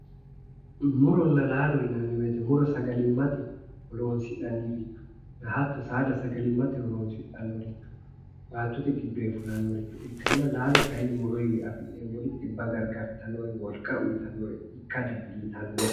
Muronna laalo yinanni woyiite sagalimmate horonsi'naniricho hatto saada sagalimmate horonsidhannoricho baattote giddoyi fulannoricho ikkanna laalo kaayiinni muroyiiwiinni afi'nemmori xibba gargartannore wolqa uyitannore ikka dandiitanno.